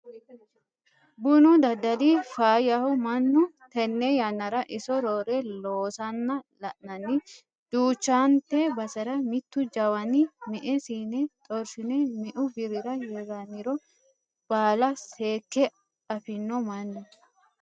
Bunu daddali faayyaho mannuno tene yannara iso roore loossanna la'nanni duuchante basera mitu jawaninni me"e siine xorshine meu birrira hiraniro baalla seekke affino mannu.